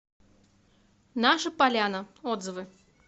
наша поляна отзывы